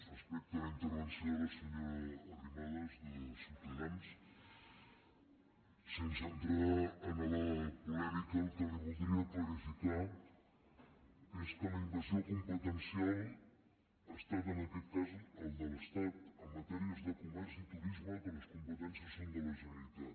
respecte a la intervenció de la senyora arrimadas de ciutadans sense entrar en la polèmica el que li voldria clarificar és que la invasió competencial ha estat en aquest cas la de l’estat en matèries de comerç i turisme que les competències són de la generalitat